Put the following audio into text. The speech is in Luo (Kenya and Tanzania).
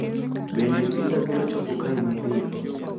Bende pizza biro chopo kae mapiyo?